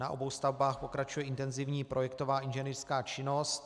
Na obou stavbách pokračuje intenzivní projektová inženýrská činnost.